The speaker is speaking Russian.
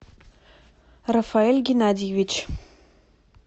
рафаэль геннадьевич